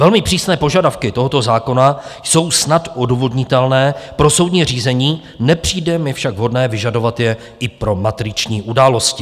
Velmi přísné požadavky tohoto zákona jsou snad odůvodnitelné pro soudní řízení, nepřijde mi však vhodné vyžadovat je i pro matriční události.